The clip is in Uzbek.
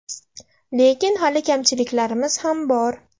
Lekin hali kamchiliklarimiz ham bor.